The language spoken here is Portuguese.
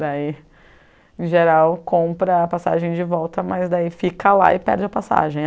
Daí, em geral, compra a passagem de volta, mas daí fica lá e perde a passagem.